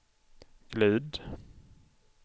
glid